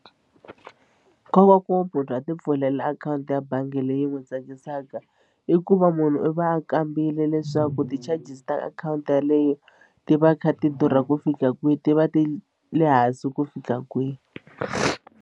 Nkoka wa ku munhu a ti pfulela akhawunti ya bangi leyi n'wi tsakisaka i ku va munhu i va a kambile leswaku ti-charges ta akhawunti yeleyo ti va ti kha ti durha ku fika kwihi ti va ti le hansi ku fika kwihi.